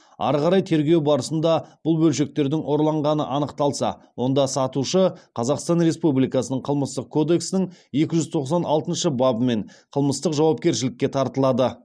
ары қарай тергеу барысында бұл бөлшектердің ұрланғаны анықталса онда сатушы қазақстан республикасының қылмыстық кодекстің екі жүз тоқсан алтыншы бабымен қылмыстық жауапкершілікке тартылады